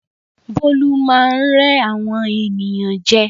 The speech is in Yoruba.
Bólú máá ń rẹ́ àwọn ènìyàn jẹ